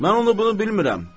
mən onu bunu bilmirəm.